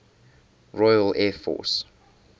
royal air force